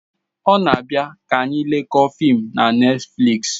O na abia ka anyi lekoo fim na Netflịks